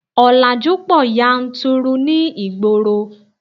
Ọ̀làjú pọ̀ yanturu ní ìgboro